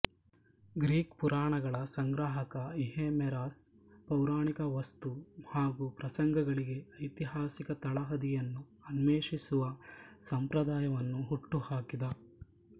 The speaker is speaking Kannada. ಗ್ರೀಕ್ ಪುರಾಣಗಳ ಸಂಗ್ರಾಹಕ ಈಹೇಮೆರಸ್ ಪೌರಾಣಿಕ ವಸ್ತು ಹಾಗೂ ಪ್ರಸಂಗಗಳಿಗೆ ಐತಿಹಾಸಿಕ ತಳಹದಿಯನ್ನು ಅನ್ವೇಷಿಸುವ ಸಂಪ್ರದಾಯವನ್ನು ಹುಟ್ಟು ಹಾಕಿದ